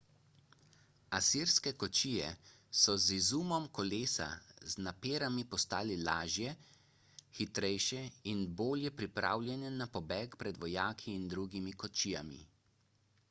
asirske kočije so z izumom kolesa z naperami postale lažje hitrejše in bolje pripravljene na pobeg pred vojaki in drugimi kočijami